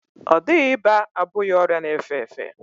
Ọ dịghị ịba abụghị ọrịa na-efe efe.